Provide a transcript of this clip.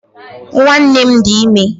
Nwanne m dị ime